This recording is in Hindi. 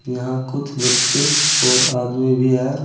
यहां कुछ बच्चे और आदमी भी है।